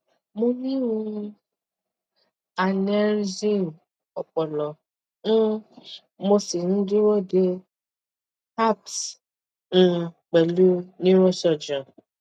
mo ní um aneryusm ọpọlọ um mo sì ń dúró de appt um pẹlú neurosurgeon